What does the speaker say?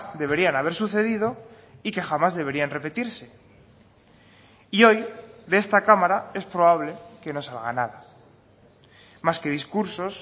deberían haber sucedido y que jamás deberían repetirse y hoy de esta cámara es probable que no salga nada más que discursos